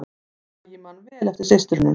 Bragi man vel eftir systrunum